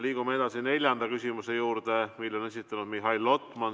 Liigume edasi neljanda küsimuse juurde, mille on esitanud Mihhail Lotman.